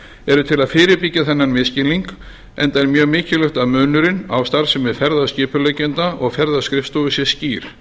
eru til að fyrirbyggja þennan misskilning enda er mjög mikilvægt að munurinn á starfsemi ferðaskipuleggjenda og ferðaskrifstofu sé skýr